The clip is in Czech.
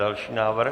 Další návrh.